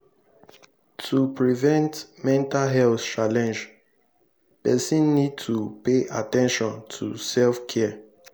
to fit prevent mental health challenge person need to pay at ten tion to self care